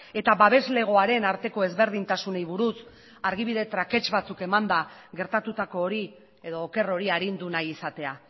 eta babeslegoaren arteko ezberdintasunei buruz argibide trakets batzuk emanda gertatutako hori edo oker hori arindu nahi izatea